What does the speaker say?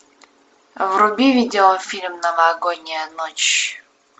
вруби видеофильм новогодняя ночь